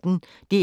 DR P1